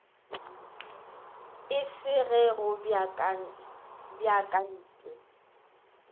e se ge go beakantwe